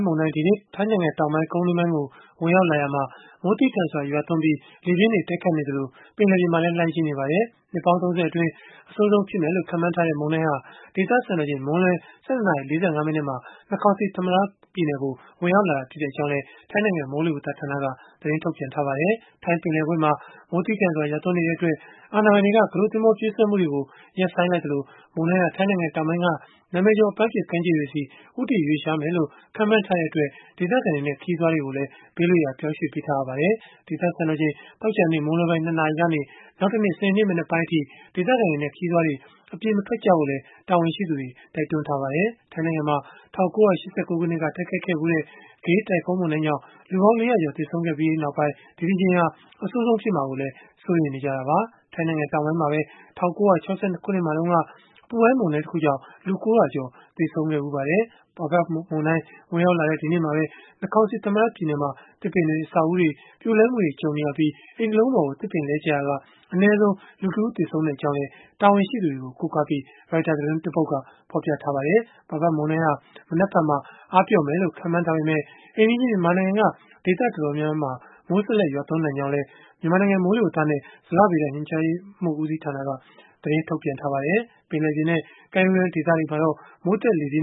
မုန်တိုင်း ဒီကနေ့ ထိုင်းနိုင်ငံတောင်ပိုင်း ကုန်းတွင်းပိုင်းကို ဝင်ရောက်လာရာမှာ မိုး သည်းထန်စွာ ရွာသွန်းပြီး လေပြင်းတွေ တိုက်ခိုက်နေသလို ပင်လယ်ပြင်မှာလည်း လှိုင်းကြီးနေပါတယ်။ နှစ်ပေါင်း ၃၀ အတွင်း အဆိုးဆုံး ဖြစ်မယ်လို့ ခန့်မှန်းထားတဲ့ မုန်တိုင်းဟာ ဒေသစံတော်ချိန် မွန်းလွဲ ၁၂ နာရီ ၄၅ မိနစ်မှာ Nakhon Si Thammarat ပြည်နယ်ကို ဝင်ရောက်လာခဲ့ကြောင်းလည်း ထိုင်း နိုင်ငံ မိုးလေဝသဌာနက ပြောပါတယ်။ ထိုင်းပင်လယ်ကွေ့မှာ မိုးသည်းထန်စွာ ရွာသွန်းနေတဲ့ အတွက် အာဏာပိုင်တွေက ကူးတို့သင်္ဘော ပြေးဆွဲမှုတွေကို ရပ်ဆိုင်းလိုက်သလို မုန်တိုင်းဟာ ထိုင်းနိုင်ငံ တောင်ပိုင်းက နာမည်ကျော် အပမ်းဖြေ ကမ်းခြေတွေဆီ ဦးတည်ရွေ့လျားမယ်လို့ ခန့်မှန်း ထားတဲ့အတွက် ဒေသခံတွေနဲ့ ခရီးသွားတွေကိုလည်း ဘေးလွတ်ရာ ပြောင်းရွှေ့ပေးထားရပါတယ်။ ဒေသစံတော်ချိန် သောကြာနေ့ မွန်းလွဲပိုင်း ၂ နာရီကနေ နောက်တနေ့ စနေနေ့ မနက်ပိုင်းအထိ ဒေသခံတွေနဲ့ ခရီးသွားတွေ အပြင်မထွက်ကြဖို့လည်း တာဝန်ရှိသူတွေက တိုက်တွန်းထားပါတယ်။ ထိုင်းနိုင်ငံမှာ ၁၉၈၉ ခုနှစ်က တိုက်ခိုက်ခဲ့တဲ့ Gay တိုင်ဖွန်းမုန်တိုင်းကြောင့် လူပေါင်း ၄ ရာကျော် သေဆုံးခဲ့ပြီးနောက်ပိုင်း ဒီတကြိမ်ဟာ အဆိုးဆုံးဖြစ်မှာကိုလည်း စိုးရိမ်နေကြတာပါ။ ထိုင်းနိုင်ငံတောင်ပိုင်းမှာပဲ ၁၉၆၂ ခုနှစ်မှာတုန်းက အပူပိုင်းမုန်တိုင်းတခုကြောင့် လူ ၉၀၀ ကျော် သေဆုံးခဲ့ဖူးပါတယ်။ Pabuk မုန်တိုင်း ဝင်ရောက်လာတဲ့ ဒီနေ့မှာပဲ Nakhon Si Thammarat ပြည်နယ်မှာ သစ်ပင်တွေ အဆောက်အဦးတွေ ပြိုလဲမှုတွေ ကြုံနေရပြီး အိမ်တလုံးပေါ် သစ်ပင်လဲ ကျရာက အနည်းဆုံး လူတဦး သေဆုံးကြောင်းလည်း တာဝန်ရှိသူတွေကို ကိုးကားပြီး Retuers သတင်းက ဖော်ပြခဲ့တာပါ။ Pabuk မုန်တိုင်းဟာ မနက်ဖြန်မှာ အားပျော့မယ်လို့ ခန့်မှန်းထားပေမဲ့ အိမ်နီးချင်း မြန်မာနိုင်ငံက ဒေသတော်တော်များများမှာ မိုးဆက်လက် ရွာသွန်းနိုင်ကြောင်းလည်း မိုးလေဝသနဲ့ ဇလဗေဒညွှန်ကြားမှုဦးစီးဌာနက သတင်းထုတ်ပြန်ထားပါတယ်။ ပင်လယ်ပြင်နဲ့ ကမ်းရိုးတန်း ဒေသတွေမှာတော့ မိုးသက်လေပြင်း